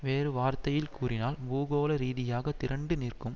வேறு வார்த்தையில் கூறினால் பூகோளரீதியாக திரண்டுநிற்கும்